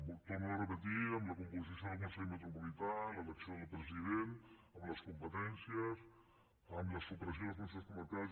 ho torno a repetir amb la composició del consell metropolità l’elecció del president amb les competències amb la supressió dels consells comarcals